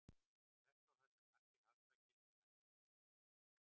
Þvert á það sem margir halda gildir hann ekki um sambúð.